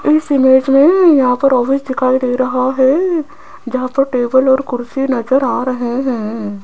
इस इमेज में यहां पर ऑफिस दिखाई दे रहा है जहां पर टेबल और कुर्सी नजर आ रहे हैं।